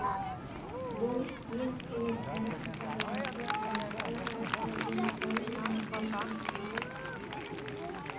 бұл ең қиын әрі аса жауапты сала халық арасында дені саудың жаны сау деген тамаша